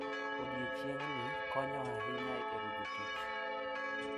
Odiechieng`ni konyo ahinya e gero jotich.